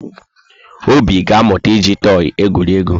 Obi ga-amụta iji tọị egwuri egwu.